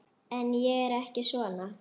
En ég er ekki svona.